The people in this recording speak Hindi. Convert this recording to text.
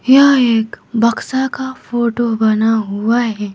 यहां एक बक्सा का फोटो बना हुआ है।